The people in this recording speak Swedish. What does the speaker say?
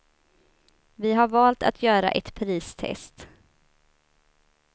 Vi har valt att göra ett pristest.